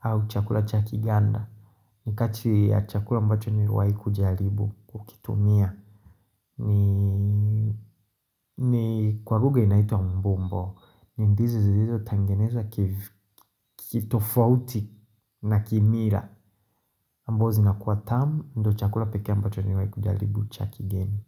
au chakula cha kiganda ni kati ya chakula ambacho ni mewea kujaribu kukitumia niii ni kwa lugha inaitu wa mbombo ni ndizi zilizo tangenezwa kitofauti na kimila Ambo zinakuwa tamu ndo chakula pekee ambacho ni mewai kujaribu cha kigeni.